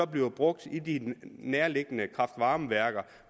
bliver brugt i de nærliggende kraft varme værker